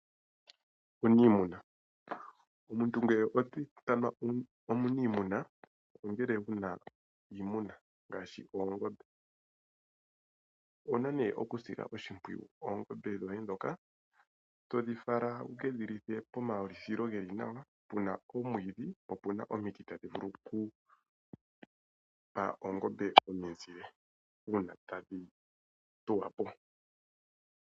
Omuniimuna oye omuntu ngoka ena iimuna ngaashi oongombe. Owuna née okusila oshimpwiyu oongombe dhoye ndhoka todhifala wukedhilithe pomaulithilo geli nawa puna omwiidhi po opuna omiti tadhi vulu okupa oongombe omizile uuna tadhi thuwapo.